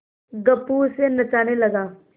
गप्पू उसे नचाने लगा